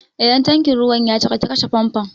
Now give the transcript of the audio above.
Idan tankin ruwan ya cika ki kashe famfon!